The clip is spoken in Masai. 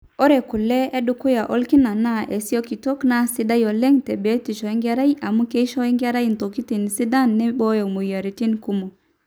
ore kule edukuya orkina naa isikitok, naa sidan oleng te biotishu enkerai amu keisho enkerai intokitin sidan neibooyo imweyiaritin kumok